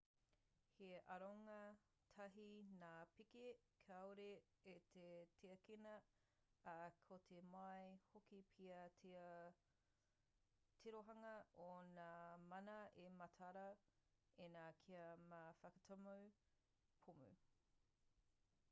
he aronga tāhei ngā pēke kāore i te tiakina ā ka tō mai hoki pea te tirohanga o ngā mana e mataara ana ki ngā whakatuma pōmu